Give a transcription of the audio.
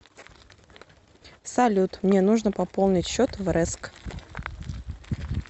салют мне нужно пополнить счет в рэск